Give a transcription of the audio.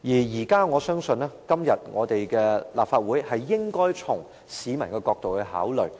在這問題上，我認為立法會應該從市民的角度考慮。